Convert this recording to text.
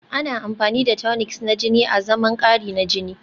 Ana amfani da tonics na jini azaman kari na jini